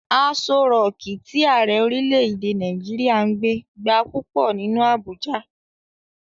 Aso rọọ̀kí tí Ààrẹ orílè-èdè Nàìjíríà ń gbé gba púpọ̀ nínú Abuja.